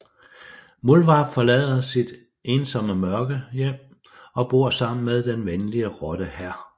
Muldvarp forlader sit ensomme mørke hjem og bor sammen med den venlige rotte Hr